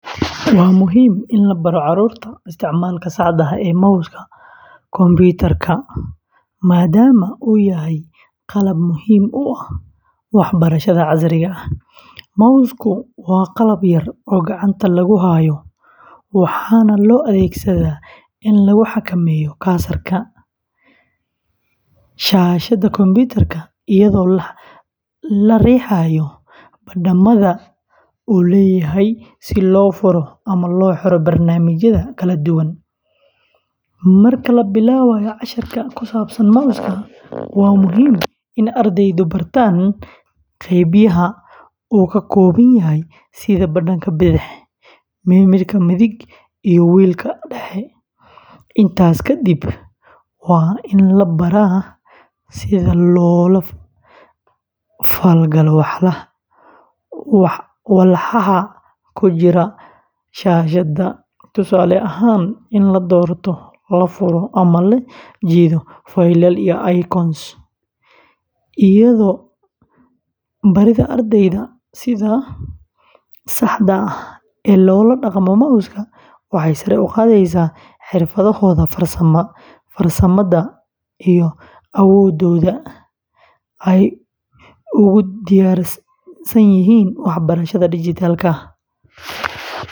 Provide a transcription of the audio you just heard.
Waa muhiim in la baro carruurta isticmaalka saxda ah ee mouse-ka kombiyuutarka, maadaama uu yahay qalab muhiim u ah waxbarashada casriga ah. Mouse-ku waa qalab yar oo gacanta lagu hayo, waxaana loo adeegsadaa in lagu xakameeyo cursor-ka shaashadda kombiyuutarka, iyadoo la riixayo badhamada uu leeyahay si loo furo ama loo xiro barnaamijyada kala duwan. Marka la bilaabayo casharka ku saabsan mouse-ka, waa muhiim in ardaydu bartaan qaybaha uu ka kooban yahay sida badhanka bidix, midig, iyo wheel-ka dhexe. Intaas kadib, waa in la baro sida loola falgalo walxaha ku jira shaashadda, tusaale ahaan, in la doorto, la furo ama la jiido faylal iyo icons. Barida ardayda sida saxda ah ee loola dhaqmo mouse-ka waxay sare u qaadaysaa xirfadahooda farsamada iyo awoodooda ay ugu diyaarsan yihiin waxbarashada dhijitaalka ah.